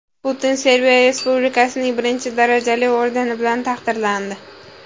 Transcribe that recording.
Putin Serbiya Respublikasining birinchi darajali ordeni bilan taqdirlandi.